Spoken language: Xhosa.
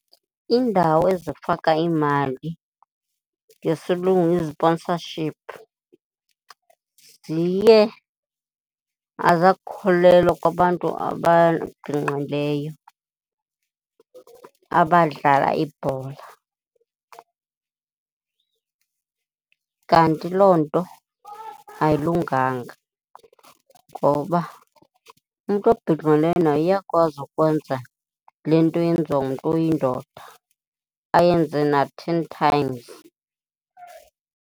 Iindawo ezifaka imali ngesilungu iziponsashiphu ziye azakholelwa kwabantu ababhinqileyo abadlala ibhola. Kanti loo nto ayilunganga, ngoba umntu obhinqileyo naye uyakwazi ukwenza le nto eyenziwa ngumntu oyindoda, ayenze na-ten times.